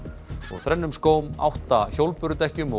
þrennum skóm átta hjólbörudekkjum og